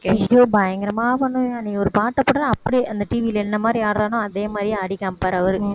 ஐயோ பயங்கரமா பண்ணுவான், நீ ஒரு பாட்டைப் போட்டா அப்படியே அந்த TV ல என்ன மாதிரி ஆடறானோ அதே மாதிரி ஆடி காமிப்பாரு அவரு